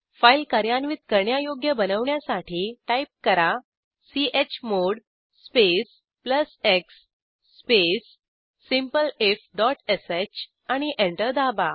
file कार्यान्वित करण्यायोग्य बनवण्यासाठी टाईप करा chmod space plus x space simpleifश आणि एंटर दाबा